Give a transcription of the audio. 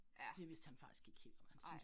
Ja. Nej